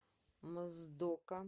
моздока